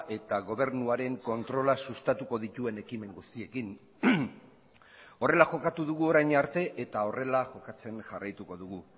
eta gobernuaren kontrola sustatuko dituen ekimen guztiekin horrela jokatu dugu orain arte eta horrela jokatzen jarraituko dugu